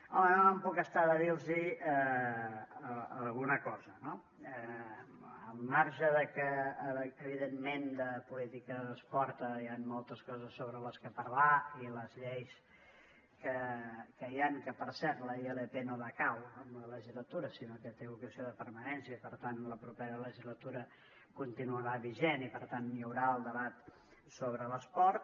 home no me’n puc estar de dir los alguna cosa no al marge que evidentment de política d’esport hi ha moltes coses sobre les quals parlar i les lleis que hi ha que per cert la ilp no decau amb la legislatura sinó que té vocació de permanència i per tant la propera legislatura continuarà vigent i per tant hi haurà el debat sobre l’esport